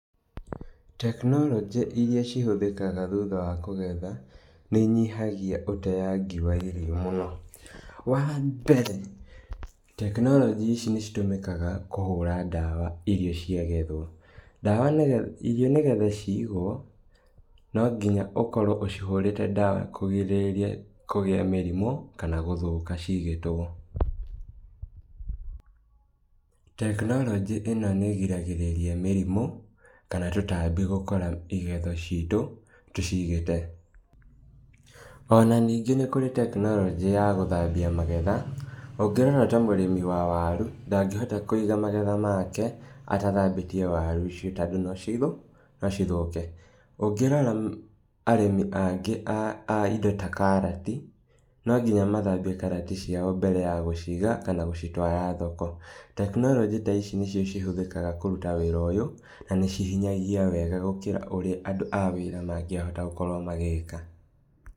Tekinoronjĩ iria cihũthĩkaga thutha wa kũgetha, nĩinyihagia ũteangi wa irio mũno. Wambere, tekinoronjĩ ici nĩcitũmĩkaga kũhũra ndawa irio cia gethwo, ndawa nĩge irio nĩgetha cigwo, no nginya ũkorwo ũcihũrĩte ndawa kũgirĩrĩria kũgĩa mĩrimũ, kana gũthũka cigĩtwo. Tekinoronjĩ ĩno nĩgiragĩrĩria mĩrimũ, kana tũtambi gũkora igetho citũ, tũcigĩte. Ona ningĩ nĩkũrĩ tekinoronjĩ ya gũthambia magetha, ũngĩrora ta mũrĩmi wa waru, ndangĩhota kũiga magetha make, atathambĩtie waru icio tondũ no cithũ, no cithũke, ũngĩrora arĩmi angĩ a a indo ta karati, no nginya mathambie karati ciao mbere ya gũciga kana gũcitwara thoko, tekinoronjĩ ta ici nĩcio cihũthĩkaga wĩra ta ũyũ na na nĩcihinyagia wega gũkĩra ũrĩa andũ a wĩra magĩahota gũkorwo magĩka.